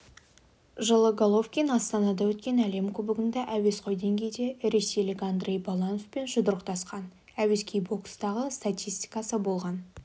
жылы головкин астанада өткен әлем кубогында әуесқой деңгейде ресейлік андрей балановпен жұдырықтасқан әуесқой бокстағы статистикасы болған